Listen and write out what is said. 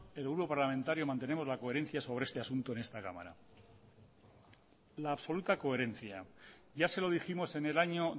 el grupo parlamentario mantenemos la coherencia sobre este asunto en esta cámara la absoluta coherencia ya se lo dijimos en el año